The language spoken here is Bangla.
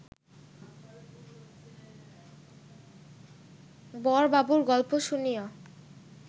বড়বাবুর গল্প শুনিয়া